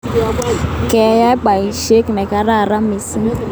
Keyai poisyet ne kararan missing'